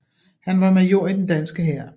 Han var major i den danske hær